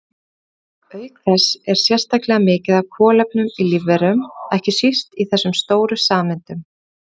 Auk þess er sérstaklega mikið af kolefni í lífverum, ekki síst í þessum stóru sameindum.